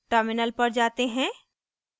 terminal पर जाते हैं